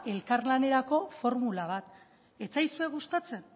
elkarlanerako formula bat da ez zaizue gustatzen